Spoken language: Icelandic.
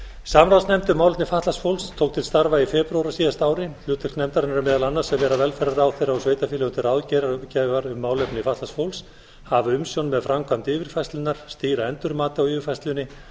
samráðsnefnd um málefni fatlaðs fólks tók til starfa í febrúar á síðasta ári hlutverk nefndarinnar er meðal annars að vera velferðarráðherra og sveitarfélögum til ráðgjafar um málefni fatlaðs fólks hafa umsjón með framkvæmd yfirfærslunnar stýra endurmati á yfirfærslunni